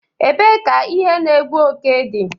Ebee ka ihe na-egbu oke dị?